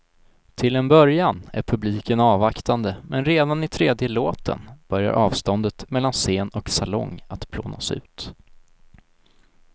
Till en början är publiken avvaktande men redan i tredje låten börjar avståndet mellan scen och salong att plånas ut.